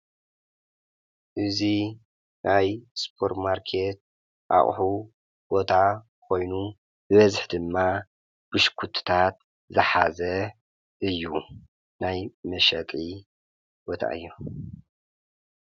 እዙይ ኣይ ስጶር ማርከት ኣቕሑ ጐታ ኾይኑ በዝኅ ድማ ብሽኲትታት ዝሓዘ እዩ ናይ መሽጥ ቦታ እዮ።